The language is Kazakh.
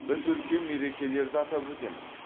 біз үлкен мерекелерді атап өтеміз